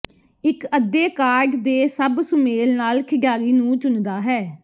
ਇਕ ਅੱਧੇ ਕਾਰਡ ਦੇ ਸਭ ਸੁਮੇਲ ਨਾਲ ਖਿਡਾਰੀ ਨੂੰ ਚੁਣਦਾ ਹੈ